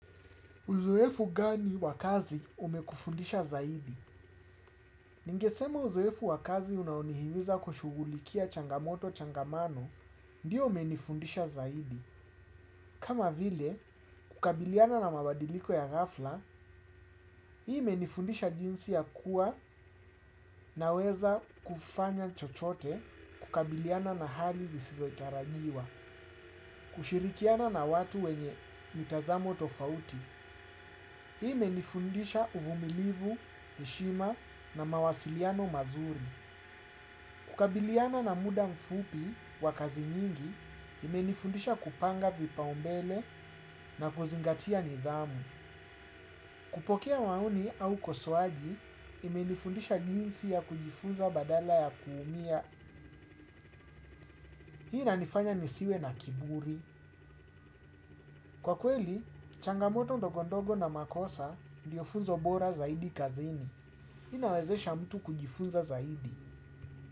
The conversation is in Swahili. Uzoefu gani wa kazi umekufundisha zaidi? Ningesema uzoefu wakazi unaonihimiza kushughulikia changamoto changamano, ndio umenifundisha zaidi. Kama vile, kukabiliana na mabadiliko ya ghafla, hii imenifundisha jinsi ya kuwa naweza kufanya chochote, kukabiliana na hali isiyotarajiwa, kushirikiana na watu wenye mitazamo tofauti. Hii imenifundisha uvumilivu, heshima na mawasiliano mazuri. Kukabiliana na muda mfupi wa kazi nyingi, imenifundisha kupanga vipaumbele na kuzingatia nidhamu. Kupokea wauni au ukosoaji, imenifundisha jinsi ya kujifunza badala ya kuumia. Hii inanifanya nisiwe na kiburi. Kwa kweli, changamoto ndogo ndogo na makosa ndio funzo bora zaidi kazini. Hii inawezesha mtu kujifunza zaidi.